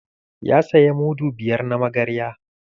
Ya saya mudu biyar na magarya.